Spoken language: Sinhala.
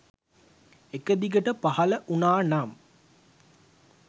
එක දිගට පහල වුනා නම්